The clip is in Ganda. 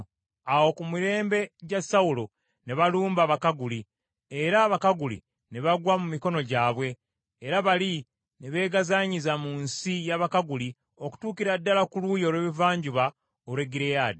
Awo ku mirembe gya Sawulo ne balumba Abakaguli, era Abakaguli ne bagwa mu mikono gyabwe, era bali ne beegazaanyiza mu nsi y’Abakaguli okutuukira ddala ku luuyi olw’ebuvanjuba olw’e Gireyaadi.